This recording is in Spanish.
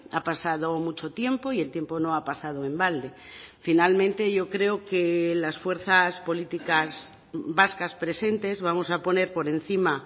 ha pasado mucho tiempo y el tiempo no ha pasado en balde finalmente yo creo que las fuerzas políticas vascas presentes vamos a poner por encima